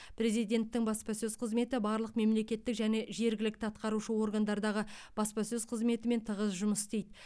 президенттің баспасөз қызметі барлық мемлекеттік және жергілікті атқарушы органдардағы баспасөз қызметімен тығыз жұмыс істейді